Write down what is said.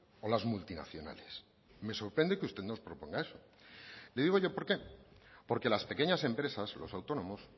o las multinacionales me sorprende que usted nos proponga eso le digo yo por qué porque las pequeñas empresas los autónomos